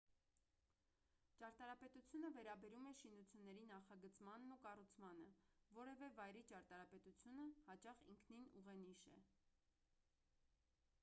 ճարտարապետությունը վերաբերում է շինությունների նախագծմանն ու կառուցմանը որևէ վայրի ճարտարապետությունը հաճախ ինքնին ուղենիշ է